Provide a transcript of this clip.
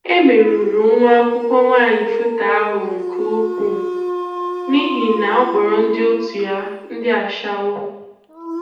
E merụrụ nwa akwụkwọ nwaanyị FUTA ahụ nke ukwuu, n'ihi na ọ kpọrọ ndị otú ya, ndị achawo.